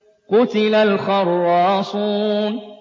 قُتِلَ الْخَرَّاصُونَ